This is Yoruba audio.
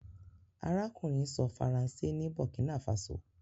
arákùnrin sọ Faransé ní burkina faso.